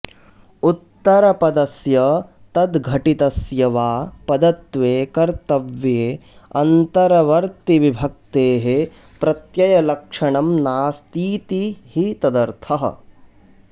उत्तरपदस्य तद्धटितस्य वा पदत्वे कर्तव्येऽन्तर्बर्तिविभक्तेः प्रत्ययलक्षणं नास्तीति हि तदर्थः